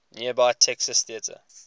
nearby texas theater